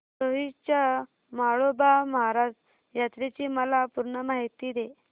दोडी च्या म्हाळोबा महाराज यात्रेची मला पूर्ण माहिती दे